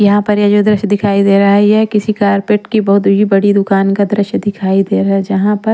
यहाँ पर ये जो दृश्य दिखाई दे रहा है ये किसी कारपेट की बहुत ही बड़ी दुकान का दृश्य दिखाई दे रहा है जहाँ पर--